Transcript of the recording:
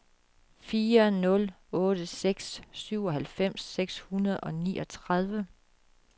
fire nul otte seks syvoghalvfems seks hundrede og niogtredive